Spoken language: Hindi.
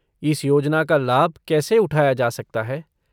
इस योजना का लाभ कैसे उठाया जा सकता है?